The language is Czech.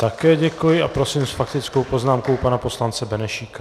Také děkuji a prosím s faktickou poznámkou pana poslance Benešíka.